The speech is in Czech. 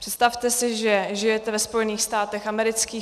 Představte si, že žijete ve Spojených státech amerických.